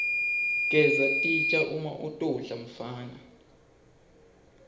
gesa titja uma utodla mfana